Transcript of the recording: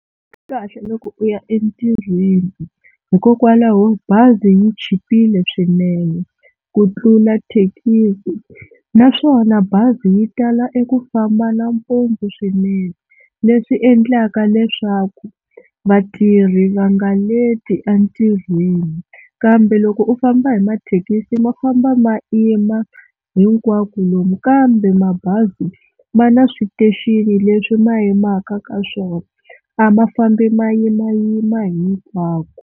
Swi kahle loko u ya entirhweni hikokwalaho bazi yi chipile swinene ku tlula thekisi, naswona bazi yi tala eku famba nampundzu swinene leswi endlaka leswaku vatirhi va nga leti entirhweni. Kambe loko u famba hi mathekisi ma famba ma yima hinkwako lomu kambe mabazi ma na station leswi ma yimaka ka swona a ma fambi ma yimayima hinkwako.